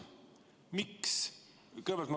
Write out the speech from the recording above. Miks?